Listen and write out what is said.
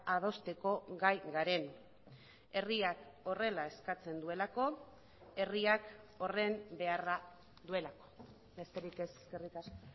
adosteko gai garen herriak horrela eskatzen duelako herriak horren beharra duelako besterik ez eskerrik asko